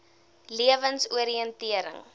lewensoriëntering